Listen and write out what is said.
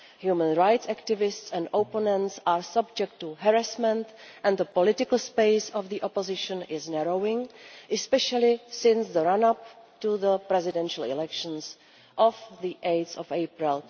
Human rights activists and opponents are subject to harassment and the political space of the opposition is narrowing, especially since the run-up to the presidential elections of 8 April